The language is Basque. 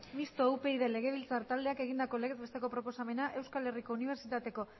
mistoa upyd legebiltzar taldeek egindako legez besteko proposamena euskal herriko unibertsitateko